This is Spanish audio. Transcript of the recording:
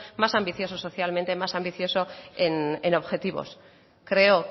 más ambicioso socialmente más ambicioso en objetivos creo